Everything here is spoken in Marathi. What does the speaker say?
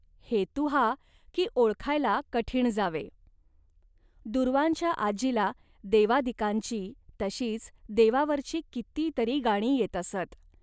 हेतू हा, की ओळखायला कठीण जावे. दूर्वांच्या आजीला देवादिकांची, तशीच देवावरची किती तरी गाणी येत असत